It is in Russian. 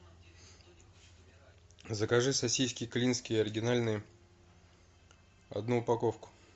закажи сосиски клинские оригинальные одну упаковку